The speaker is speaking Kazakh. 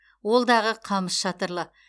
ол дағы қамыс шатырлы